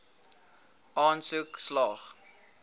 aansoek slaag